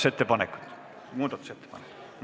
Selge!